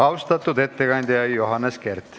Austatud ettekandja Johannes Kert!